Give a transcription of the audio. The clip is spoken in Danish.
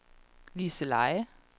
Liseleje